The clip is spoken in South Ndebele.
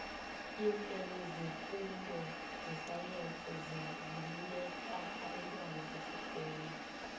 iimpele zeenfundo zesayensi ziluleka abantwana besikolo